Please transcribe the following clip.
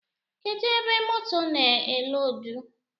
Kedụ ebe moto na-eloodu?